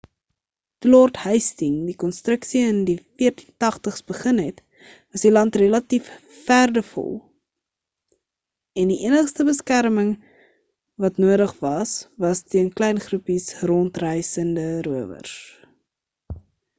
toe lord hasting die konstruksie in die 1480’s begin het was die land relatief verdevol en die enigste beskerming wat nodig was was teen klein groepies rondreisende rowers